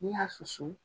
N'i y'a susu